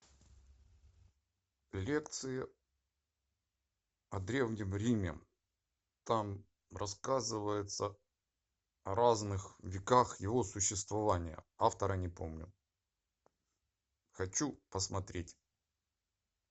лекции о древнем риме там рассказывается о разных веках его существования автора не помню хочу посмотреть